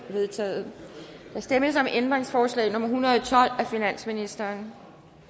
er vedtaget der stemmes om ændringsforslag nummer en hundrede og tolv af finansministeren